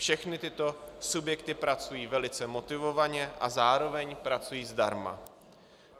Všechny tyto subjekty pracují velice motivovaně a zároveň pracují zdarma.